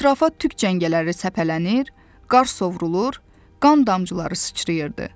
Ətrafa tük cəngələri səpələnir, qar sovrulur, qan damcıları sıçrayırdı.